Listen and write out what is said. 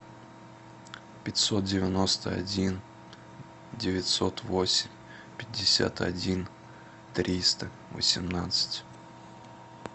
пятьсот девяносто один девятьсот восемь пятьдесят один триста восемнадцать